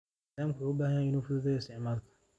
Nidaamku wuxuu u baahan yahay inuu fududaado isticmaalka.